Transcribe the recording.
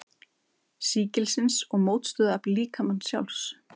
sýkilsins og mótstöðuafl líkamans sjálfs.